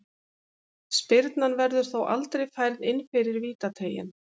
Spyrnan verður þó aldrei færð inn fyrir vítateiginn.